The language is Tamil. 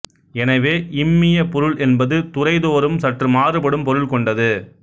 எனவே இம்மியப்பொருள் என்பது துறைதோறும் சற்று மாறுபடும் பொருள் கொண்டது